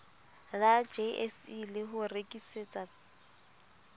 la jse le ho rekisetsa